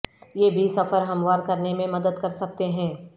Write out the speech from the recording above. یہ بھی سفر ہموار کرنے میں مدد کر سکتے ہیں